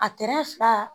A fila